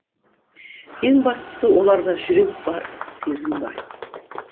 ең бастысы оларда жүрек бар сезім бар